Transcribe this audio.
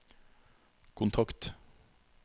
kontakt